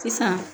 Sisan